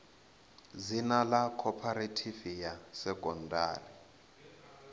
dzina ḽa khophorethivi ya sekondari